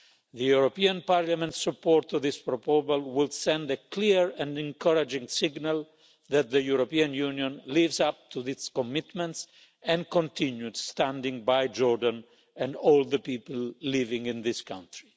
The European Parliament's support for this proposal will send a clear and encouraging signal that the European Union lives up to its commitments and continues standing by Jordan and all the people living in that country.